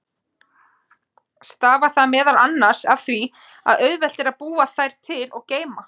Stafar það meðal annars af því að auðvelt er að búa þær til og geyma.